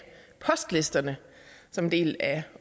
postlisterne som en del af